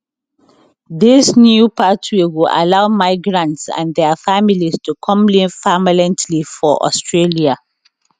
dis new pathway go allow migrants and dia families to come live permanently for australia